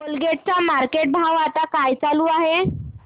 Colgate चा market भाव आता काय चालू आहे